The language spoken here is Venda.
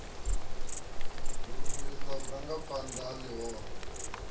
ri lumelisa vhurangaphanḓa ha ḽihoro